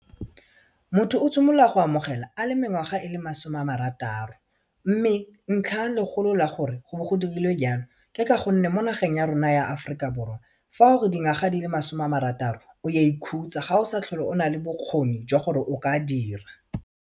Motho o simolola go amogela a le mengwaga e le masome a marataro mme ntlhalegolo la gore go bo go dirilwe jalo ke ka gonne mo nageng ya rona ya Aforika Borwa fa o le dingwaga di le masome a marataro o a ikhutsa ga o sa tlhole o nale bokgoni jwa gore o ka dira.